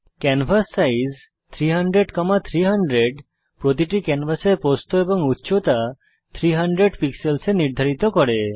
canvas size 300300 প্রতিটি ক্যানভাসের প্রস্থ এবং উচ্চতা 300 পিক্সেলস এ নির্ধারিত করে